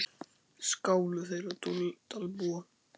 Skáli þeirra Dalbúa.